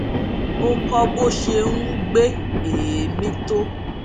ó kó bó ṣe n gbé èémí tó